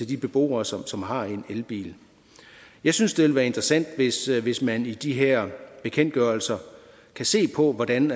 de beboere som som har en elbil jeg synes det ville være interessant hvis man i de her bekendtgørelser kan se på hvordan